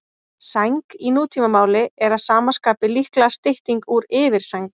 Sæng í nútímamáli er að sama skapi líklega stytting úr yfirsæng.